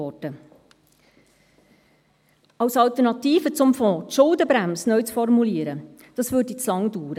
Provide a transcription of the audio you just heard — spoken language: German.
Die Schuldenbremse als Alternative zum Fonds neu zu formulieren, würde zu lange dauern.